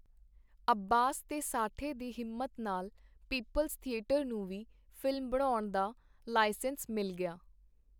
ਅੱਬਾਸ ਤੇ ਸਾਠੇ ਦੀ ਹਿੰਮਤ ਨਾਲ ਪੀਪਲਜ਼ ਥੀਏਟਰ ਨੂੰ ਵੀ ਫ਼ਿਲਮ ਬਣਾਉਣ ਦਾ ਲਾਈਸੈਂਸ ਮਿਲ ਗਿਆ.